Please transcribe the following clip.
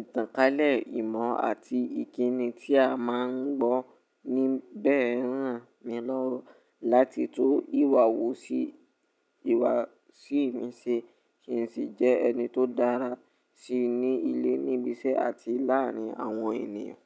Ìtànkálẹ̀, ìmọ̀ àti ìkíni tí a máa ń gbọ́ ní bẹ̀rẹ̀ rán mi lọ́wọ́ láti tu ìwà wò sí ìwà sí mi ṣe kì í sì jẹ́ ẹni tó dára sí ní ilé, níbi iṣẹ́ àti láàrin àwọn ènìyàn.